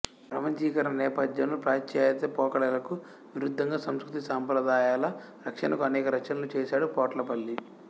ప్రపంచీకరణ నేపథ్యంలో పాశ్చత్య పోకడలకు విరుద్ధంగా సంస్కృతి సాంప్రదాయాల రక్షణకు అనేక రచనలు చేశాడు పొట్లపల్లి